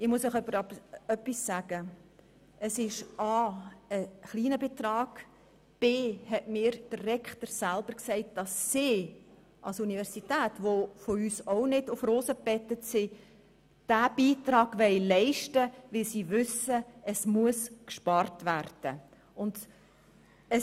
Doch ich möchte Ihnen Folgendes dazu sagen: A) handelt es sich um einen kleinen Betrag, und b) hat mir der Rektor selber gesagt, dass die Universität, die vom Kanton nicht auf Rosen gebettet wird, diesen Beitrag aufbringen will, weil sie weiss, dass gespart werden muss.